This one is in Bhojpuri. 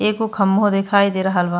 एगो खम्बो दिखाई दे रहल बा।